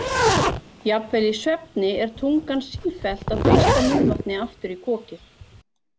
Jafnvel í svefni er tungan sífellt að þrýsta munnvatni aftur í kokið.